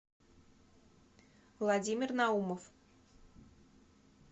владимир наумов